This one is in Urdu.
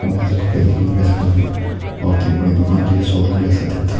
بہت بڈی دکان ہے یہ شو روم کی طرح دیکھتا-